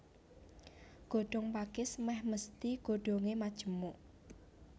Godhong pakis mèh mesthi godhongé majemuk